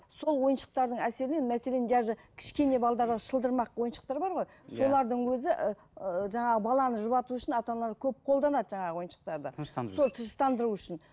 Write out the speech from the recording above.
сол ойыншықтардың әсерінен мәселен даже кішкене балаларға шылдырмақ ойыншықтар бар ғой иә солардың өзі ыыы жаңағы баланы жұбату үшін ата аналар көп қолданады жаңағы ойыншықтарды тыныштандыру сол тыныштандыру үшін